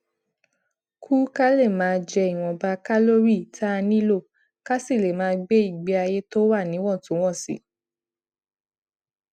kù ka lè máa jẹ ìwònba kálórì tá a nílò ká sì lè máa gbé ìgbé ayé tó wà níwòntúnwònsì